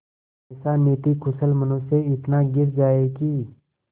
ऐसा नीतिकुशल मनुष्य इतना गिर जाए कि